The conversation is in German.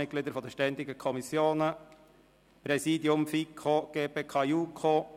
Ich gratuliere allen Gewählten und wünsche ihnen viel Befriedigung in ihrem neuen Amt.